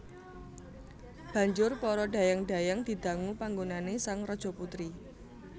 Banjur para dhayang dhayang didangu panggonané sang Rajaputri